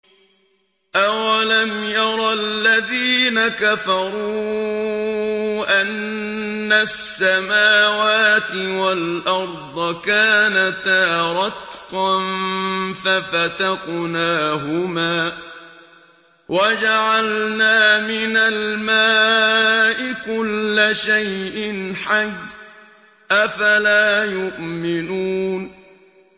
أَوَلَمْ يَرَ الَّذِينَ كَفَرُوا أَنَّ السَّمَاوَاتِ وَالْأَرْضَ كَانَتَا رَتْقًا فَفَتَقْنَاهُمَا ۖ وَجَعَلْنَا مِنَ الْمَاءِ كُلَّ شَيْءٍ حَيٍّ ۖ أَفَلَا يُؤْمِنُونَ